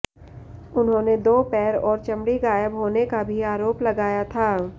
उन्होंने दो पैर और चमड़ी ग़ायब होने का भी आरोप लगाया था